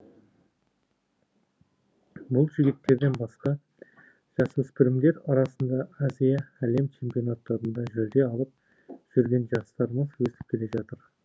бұл жігіттерден басқа жасөспірімдер арасында азия әлем чемпионаттарында жүлде алып жүрген жастарымыз өсіп келе жатыр